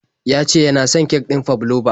Ya ce ya na son kek ɗin fabloba.